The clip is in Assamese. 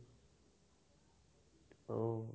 অ'